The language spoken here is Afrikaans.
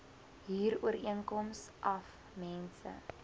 huurooreenkoms af mense